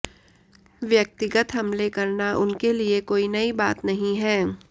व्यक्तिगत हमले करना उनके लिए कोई नई बात नहीं है